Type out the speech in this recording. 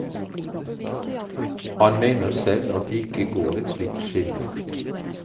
Han mener selv at det ikke går et slikt skille.